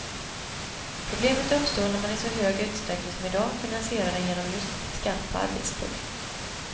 Problemet uppstår när man i så hög utsträckning som i dag finansierar den genom just skatt på arbetstid.